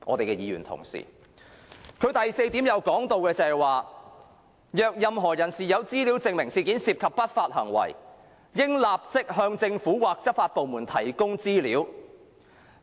該聲明第四點提到："若任何人士有資料證明事件涉及不法行為，應立即向政府或執法部門提供資料。